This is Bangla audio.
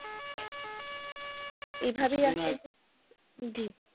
এই ভাবেই কিছুদিন আগে জি।